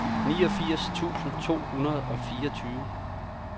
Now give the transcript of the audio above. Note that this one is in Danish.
niogfirs tusind to hundrede og fireogtyve